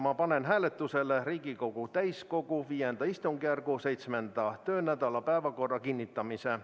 Ma panen hääletusele Riigikogu täiskogu V istungjärgu 7. töönädala päevakorra kinnitamise.